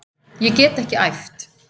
Ég get ekki æft.